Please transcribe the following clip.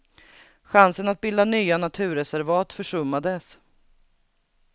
Chansen att bilda nya naturreservat försummades.